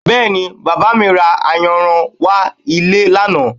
Bẹ́ẹ̀ni, Bàbá mi ra ayanran wá ilé lánàá